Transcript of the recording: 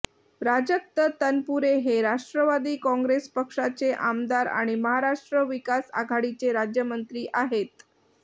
प्राजक्त तनपुरे हे राष्ट्रवादी कॉंग्रेस पक्षाचे आमदार आणि महाराष्ट्र विकास आघाडीचे राज्यमंत्री आहेत